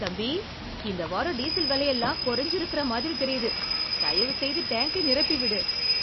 தம்பி, இந்த வாரம் டீசல் விலையெல்லாம் குறைஞ்சு இருக்கிற மாதிரி தெரியுது. தயவுசெய்து டேங்கை நிரப்பி விடு.